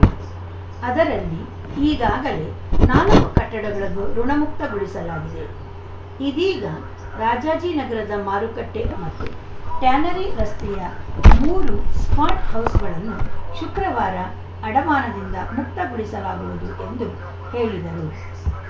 ಅದರಲ್ಲಿ ಈಗಾಗಲೇ ನಾಲ್ಕು ಕಟ್ಟಡಗಳನ್ನು ಋುಣಮುಕ್ತಗೊಳಿಸಲಾಗಿದೆ ಇದೀಗ ರಾಜಾಜಿನಗರದ ಮಾರುಕಟ್ಟೆಮತ್ತು ಟ್ಯಾನರಿ ರಸ್ತೆಯ ಮೂರು ಸ್ಟಾಟ್‌ ಹೌಸ್‌ಗಳನ್ನು ಶುಕ್ರವಾರ ಅಡಮಾನದಿಂದ ಮುಕ್ತಗೊಳಿಸಲಾಗುವುದು ಎಂದು ಹೇಳಿದರು